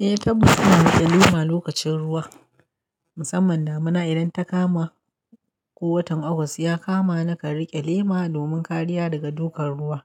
Eh, tabbas muna riƙe lema lokacin ruwa, musamman damina idan ta kama ko watan August ya kama nakan riƙe lema domin kariya daga dukan ruwa.